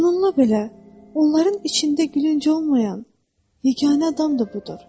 Bununla belə, onların içində gülünc olmayan yeganə adam da budur.